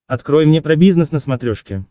открой мне про бизнес на смотрешке